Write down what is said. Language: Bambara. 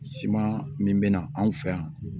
Siman min bɛ na anw fɛ yan